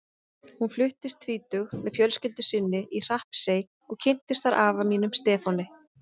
Hún fluttist tvítug með fjölskyldu sinni í Hrappsey og kynntist þar afa mínum, Stefáni.